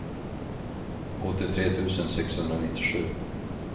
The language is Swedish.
åttiotre tusen sexhundranittiosju